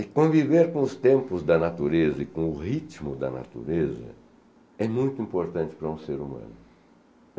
E conviver com os tempos da natureza e com o ritmo da natureza é muito importante para um ser humano.